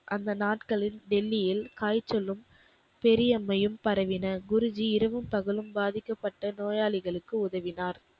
அந்த நாட்களில் டெல்லியில் காய்ச்சலும், பெரியம்மையும் பரவின. குருஜி இரவும் பகலும் பாதிக்கப்பட்ட நோயாளிகளுக்கு உதவினார்.